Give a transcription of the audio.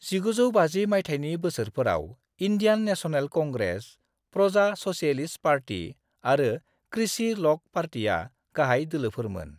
1950 मायथाइनि बोसोरफोराव Indian national congress, Praja socialist party आरो कृषि ल'क पार्टीआ गाहाय दोलोफोरमोन।